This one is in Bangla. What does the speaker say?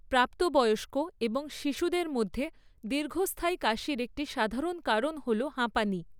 প্রাপ্তবয়স্ক এবং শিশুদের মধ্যে দীর্ঘস্থায়ী কাশির একটি সাধারণ কারণ হল হাঁপানি।